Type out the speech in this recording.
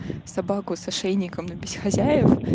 собаку с ошейником но без хозяев